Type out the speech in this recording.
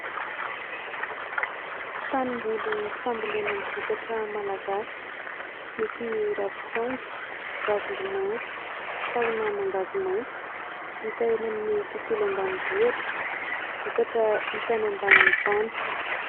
Tanimboly fambolena ny vokatra Malagasy. Nisy ny ravintsaonjo, ravimbomanga, tahona mangahazo maitso. Hita eny amin'ny tontolo ambanivohitra. Vokatra hita any ambanin'ny tany.